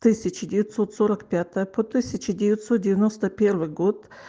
тысяча девятьсот сорок пятое по тысяча девятьсот девяноста первый год